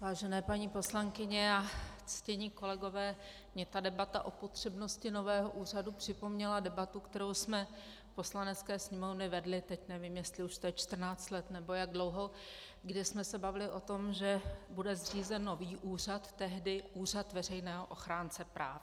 Vážené paní poslankyně a ctění kolegové, mně ta debata o potřebnosti nového úřadu připomněla debatu, kterou jsme v Poslanecké sněmovně vedli, teď nevím, jestli už to je 14 let, nebo jak dlouho, kdy jsme se bavili o tom, že bude zřízen nový úřad, tehdy úřad veřejného ochránce práv.